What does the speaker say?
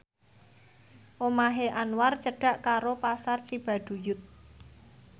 omahe Anwar cedhak karo Pasar Cibaduyut